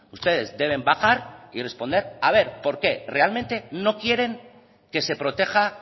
ustedes deben bajar y responder a ver por qué realmente no quieren que se proteja